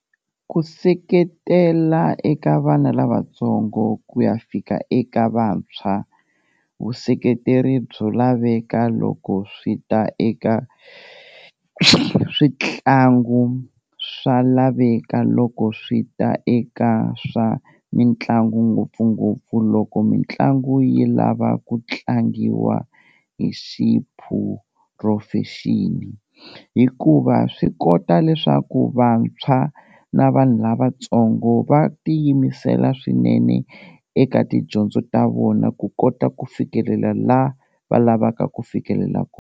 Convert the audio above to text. Ku seketela eka vana lavatsongo ku ya fika eka vantshwa, vuseketeri byo laveka loko swi ta eka switlangu swa laveka loko swi ta eka swa mitlangu ngopfungopfu, loko mitlangu yi lava ku tlangiwa hi xiphurofexini hikuva swi kota leswaku vantshwa na vanhu lavatsongo va ti yimisela swinene eka tidyondzo ta vona ku kota ku fikelela la va lavaka ku fikelela kona.